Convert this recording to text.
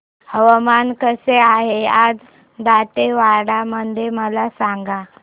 हवामान कसे आहे आज दांतेवाडा मध्ये मला सांगा